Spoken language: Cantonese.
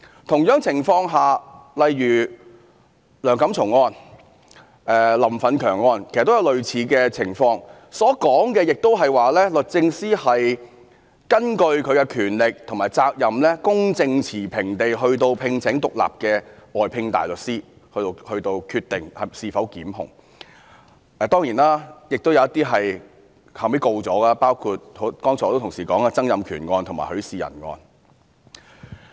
同樣情況下，例如梁錦松案、林奮強案，其實也有類似的情況，當中所說的也是律政司根據其擁有的權力和責任，公正持平地聘請獨立的外聘大律師，從而決定是否檢控，當然，亦有一些案件後來有決定檢控的，就像剛才很多議員提及的曾蔭權案和許仕仁案。